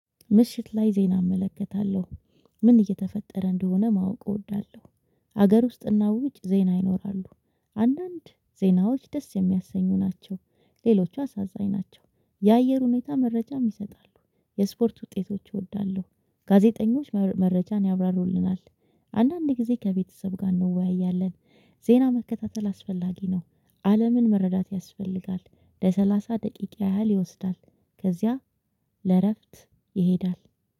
ምሽት ላይ ዜና እመለከታለሁ። ምን እየተፈጠረ እንደሆነ ማወቅ እወዳለሁ። ሀገር ውስጥና ውጭ ዜና ይኖራሉ። አንዳንድ ዜናዎች ደስ የሚያሰኙ ናቸው። ሌሎቹ አሳዛኝ ናቸው። የአየር ሁኔታ መረጃ ይሰጣሉ። የስፖርት ውጤቶች እወዳለሁ። ጋዜጠኞች መረጃን ያብራሩልናል። አንዳንዴ ከቤተሰብ ጋር እንወያያለን። ዜና መከታተል አስፈላጊ ነው። አለምን መረዳት ያስፈልጋል። ለሰላሳ ደቂቃ ያህል ይወስዳል። ከዚያ ለእረፍት ይሄዳል።